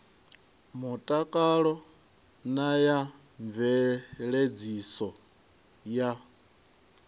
mutakalo na ya mveledziso ya